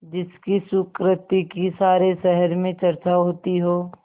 जिसकी सुकृति की सारे शहर में चर्चा होती हो